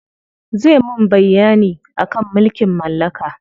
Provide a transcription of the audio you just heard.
Zai mun bayyani akan mulkin mallaka.